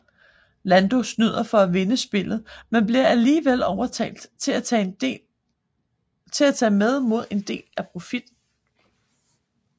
Lando snyder for at vinde spillet men bliver alligevel overtalt til at tage med mod en del af profitten